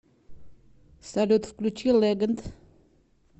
салют включи легенд